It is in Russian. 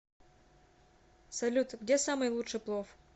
салют где самый лучший плов